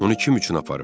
Onu kim üçün aparıb?